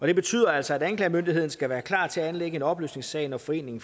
det betyder altså at anklagemyndigheden skal være klar til at anlægge en opløsningssag når foreningen